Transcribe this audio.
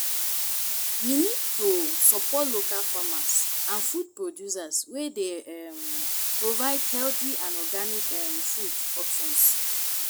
we need to support local farmers and food producers wey dey um provide healthy and organic um food options.